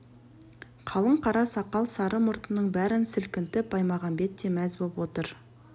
қалың қара сақал сары мұртының бәрін сілкінтіп баймағамбет те мәз боп отыр